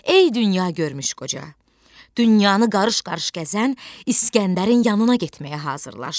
Ey dünya görmüş qoca, dünyanın qarış-qarış gəzən İsgəndərin yanına getməyə hazırlaş.